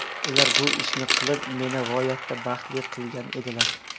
Ular bu ishni qilib, meni g‘oyatda baxtli qilgan edilar.